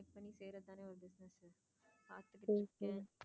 சரி சரி.